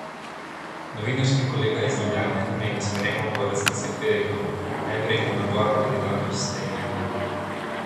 Novinarski kolega iz Ljubljane mi je na sprejemu po razglasitvi rekel: "Neverjeten nabor kandidatov ste imeli".